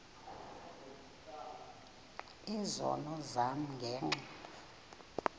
izono zam ngenxa